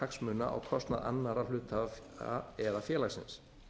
hagsmuna á kostnað annarra hluthafa eða félagsins